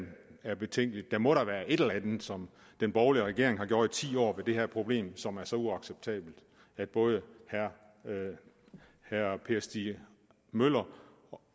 er betænkeligt der må da være et eller andet som den borgerlige regering har gjort i ti år med det her problem som er så uacceptabelt at både herre per stig møller